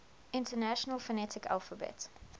international phonetic alphabet